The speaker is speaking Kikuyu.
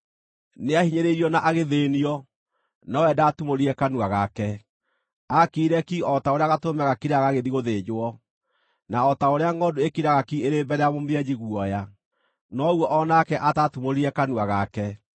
Nĩahinyĩrĩirio na agĩthĩĩnio, nowe ndaatumũrire kanua gake; aakirire ki o ta ũrĩa gatũrũme gakiraga gagĩthiĩ gũthĩnjwo, na o ta ũrĩa ngʼondu ĩkiraga ki ĩrĩ mbere ya mũmĩenji guoya, noguo o nake ataatumũrire kanua gake.